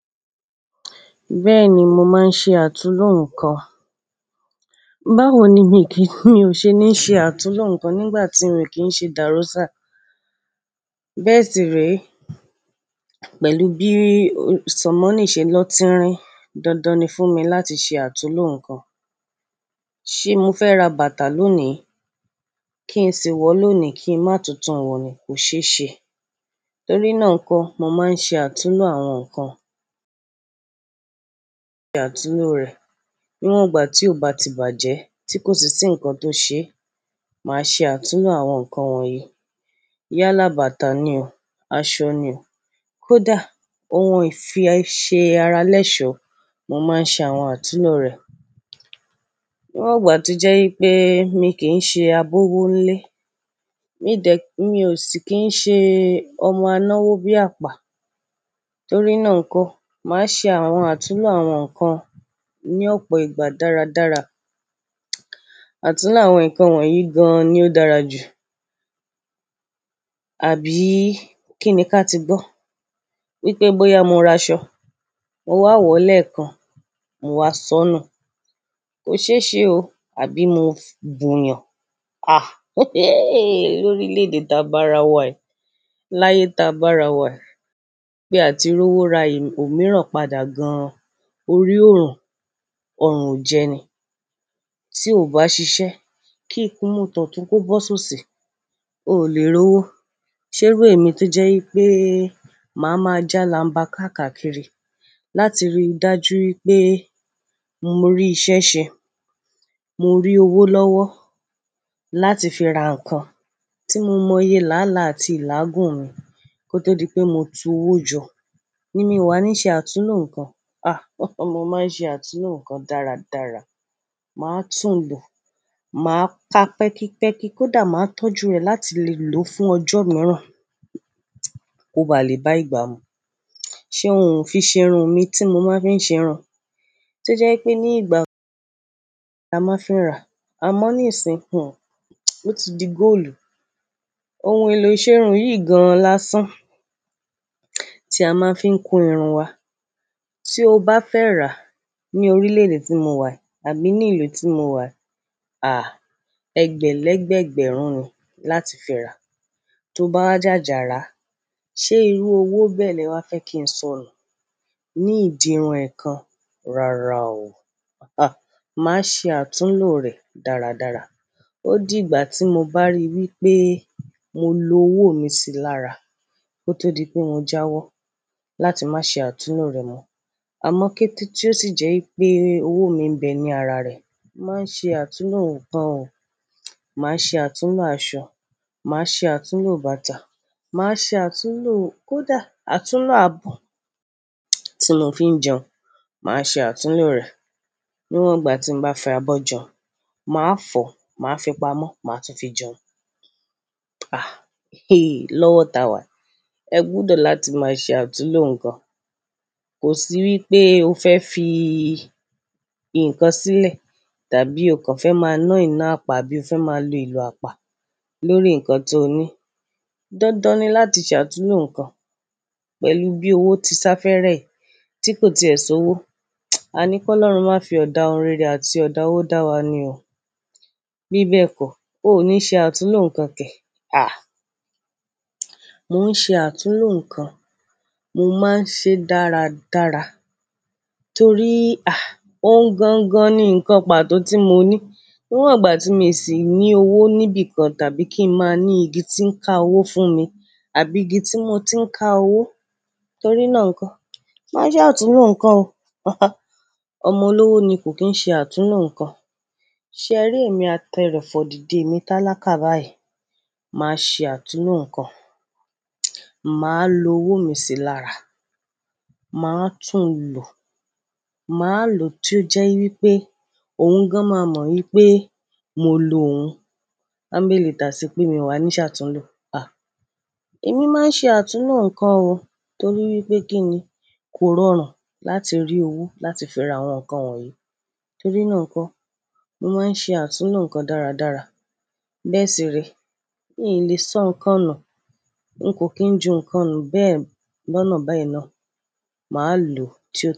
Bẹ́ẹ̀ni, mò máa ń ṣe àtúnlo nǹkan. Báwo ni mi kì í, mi ò ṣe níí ṣe àtúnlo nǹkan nígbà tí mo kii ṣe dàróṣà? Bẹ́ẹ̀ sì ree. Pẹ̀lú bí o sọ́mọ níí ṣe lọ tínrín, dandan ni fún mi láti ṣe àtúnlo nǹkan. Ṣé mo fẹ́ ra bàtà lónìí? Kí n ṣi wọ̀ lónìí kí n má tun tù wọn ni? Kò ṣe é ṣe. Nítorínà nkọ́, mò máa ń ṣe àtúnlo àwọn nǹkan. Àtúnlo rẹ̀. Níwọn ìgbà tí ó bá ti bàjẹ́ tí kò sì ti nǹkan tó ṣé, màá ṣe àtúnlo àwọn nǹkan wọ̀nyí. Iyáa bátà ni o, aṣọ ni o, kódà ohun ìfi ṣe ara lẹ́ṣọ̀, mò máa ń ṣe àwọn àtúnlo rẹ̀. Níwọn ìgbà tí jẹ́ wípé mi kì í ṣe abọ́wọ́ ń lé, mí dẹ̀, mi ò sì kì í ṣe ọmọ ańáwọ́ bí àpá. Torínà nkọ́, màá ṣe àwọn àtúnlo àwọn nǹkan ní ọ̀pọ̀ ìgbà dáradára. Àtúnlo àwọn nǹkan wọ̀nyí gan-an ni ó dára jù. Àbí kí níkà ti gbọ́ wípé bóyá mo ra aṣọ, mo wà wọ̀ lẹ́ẹ̀kan, mo wà soonù. Kò ṣe é ṣe o. Àbí mo bùn'yàn. Ah, he, he. Lórílèèdè ta bá ara wa yii, láyé ta bá ara wa yi. Pé àti ri owó ra ìm-- òmíràn padà gan-an. Orí ò rùn. Ọ̀rùn ò jẹ ni. Tí o bá ṣiṣẹ́, kí ìkún imu totun kó bọ́ ṣi oṣi, o lè rówó. Ṣé irú èmi tí jẹ́ wípé mà máa jálàmbà káàkàkiri láti rí i dájú wípé mo rí i ṣẹ́ṣẹ, mo rí owó lọ́wọ́ láti fi ra nǹkan tí mo mọ iye láálàá àti ìláàgùn mi kó tó di pé mo tú owó jọ. Ní mi o wà ní ṣe àtúnlo nǹkan. Ah, mo máa ń ṣe àtúnlo nǹkan dáradára. Màá tún lò. Màá ka pẹ́kípẹ́kí, kódà màá tọ́jú rè láti lè lò ó fún ọjọ́ mìíràn. Kò bá le bá ìgbà mú. Ṣé òun ò fi ṣe irun mi tí mo máa ń fi ṣe irun? Tí ó jẹ́ wípé ní ìgbà la máa ń fi n ra. A mọ̀ níìsín, hun. Ó ti di góòlù. Ohun èlò iṣẹ́ irun yìí gan-an lásán tí a máa ń fi ń kun irun wa. Tí o bá fẹ́ rà á ní orílèèdè tí mo wà, àbí ní ìlú tí mo wà, àá ẹgbẹ̀lẹ́gbẹ̀egbẹ̀rún ni láti fi ra. Tó bá wa ja jàrá, ṣé irú owó bẹ́ẹ̀ lẹ wá fẹ́ kí n sọnù? Ní ìdirun ẹ̀ẹ̀kan. Rárá o. Ah, màá ṣe àtúnlo rẹ̀ dáradára. Ó di ìgbà tí mo bá rí wípé mo lo owó mi sí lára kó tó di pé mo jáwọ́ láti má ṣe àtúnlo rẹ̀ mọ́. Àmọ́ kété tí ó sì jẹ́ wípé owó mi ń bẹ ní ara rẹ̀. Màá ṣe àtúnlo nǹkan o. Màá ṣe àtúnlo aṣọ, màá ṣe àtúnlo bàtà, màá ṣe àtúnlo, kódà àtúnlo abọ̀ tí mo fi ń jẹun. Màá ṣe àtúnlo rẹ̀. Níwọn ìgbà tí mo bá fi abọ́ jẹun, màá fọ, màá fi pamọ́, màá tún fi jẹun. Ah, he, lọ́wọ́ tàwà. Ẹ gbọdọ̀ láti máa ṣe àtúnlo nǹkan. Kò sí wípé o fẹ́ fi nkan sílẹ̀ tàbí o kàn fẹ́ máa ná ìná àpá abí o fẹ́ máa lo ìlo àpá lórí nǹkan tó ní. Dandan ni láti ṣe àtúnlo nǹkan pẹ̀lú bí owó ti sá fẹ́rẹ́ ẹ, tí kò ti è so'wó. A ní kó Ọlọ́run má fi ọ̀dà ohun rẹ́rẹ àti ọ̀dà owó dá wa ni o. Bí bẹ́ẹ̀ kọ́, o ò ní ṣe àtúnlo nǹkan kẹ̀. Ah, mò ń ṣe àtúnlo nǹkan, mò máa ń ṣe é dáradára torí, ah, òun gan-an ni nǹkan pàtó tí mo ní. Níwọn ìgbà tí mi sì ní owó níbí kan tàbí kí n má ní igi tí ń ká owó fún mi àbí igi tí mo ti ń ká owó. Nítorínà nkọ́, màá ṣe àtúnlo nǹkan o. Haha. Ọmọ olówó ni kò kì í ṣe àtúnlo nǹkan. Ṣe ẹ rí èmi, a tẹ ìrẹ́fọ̀ dìde, èmi tálákà báyìí. Màá ṣe àtúnlo nǹkan. Màá lo owó mi sí lára. Màá tún lò. Màá lò tí ó jẹ́ wípé òun gan-an má mọ̀ wípé mo lo òun. Anbéèlì tà sí pé mi o wà ní ṣe àtúnlo. Ah, èmi máa ń ṣe àtúnlo nǹkan o torí wípé kí ni kò rọrùn láti rí owó láti fi ra àwọn nǹkan wọ̀nyí. Nítorínà nkọ́, mò máa ń ṣe àtúnlo nǹkan dáradára. Bẹ́ẹ̀ sì ree Mii lé, sọ́ nǹkan nù. N kò kí ń ju nǹkan nù. Bẹ́ẹ̀ lọ́nà beyen naa. Màá lò tí ó.